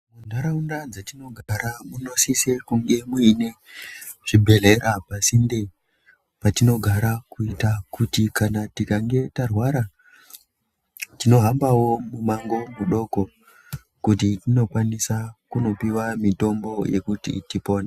Nharaunda dzatinogara munosise kunge muine zvibhedhlera pasinde patinogara. Kuita kuti kana tikange tarwara tinohambawo mumango mudoko. Kuti tinokwanisa kunopiwa mutombo yekuti tipone.